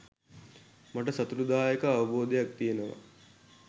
මට සතුටුදායක අවබෝධයක් තිබෙනවා